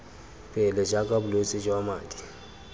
pele jaaka bolwetse jwa madi